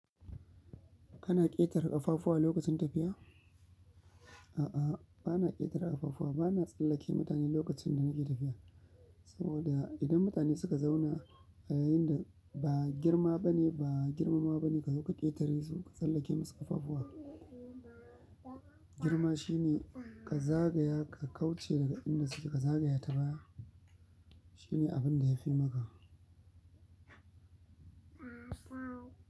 Kana ƙetare ƙafafuwa lokacin tafiya? A'a, bana ƙetare ƙafafuwa, bana tsallake mutane lokacin da nake tafiya. Saboda idan mutane suka zauna a yayinda ba girma bane, ba girmama bane ka zo ka ƙetare su ka tsallake masu ƙafafuwa. Girma shine ka zagaya ka kauce daga inda suke ka zagaya ta baya. Shine abin da ya fi maka.